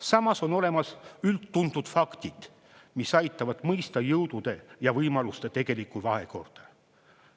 Samas on olemas üldtuntud faktid, mis aitavad mõista jõudude ja võimaluste tegelikku vahekorda.